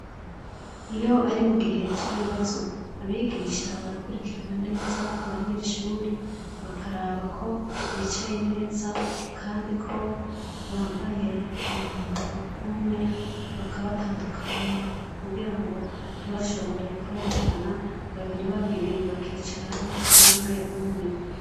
Iyo ari mugihe c’ibibazo , abigisha barakurikirana neza abanyeshure bakaraba ko bicaye neza kandi ko bambaye umwambaro umwe ,bakabatandukanya kugira ngo ntibashobore kwerekana babiri babiri bakicarana canke umwe.